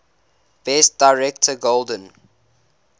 best director golden